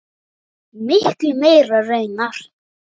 Miklu meira raunar.